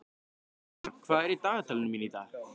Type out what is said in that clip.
Salmar, hvað er í dagatalinu mínu í dag?